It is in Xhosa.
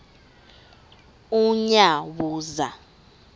unyawuza